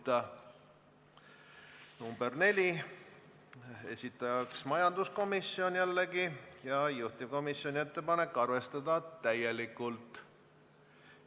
Neljanda muudatusettepaneku esitajaks on jälle majanduskomisjon ja juhtivkomisjoni ettepanek on arvestada seda täielikult.